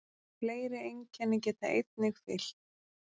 Fleiri einkenni geta einnig fylgt.